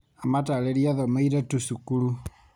Amatarĩirie athomeire tu cukuru.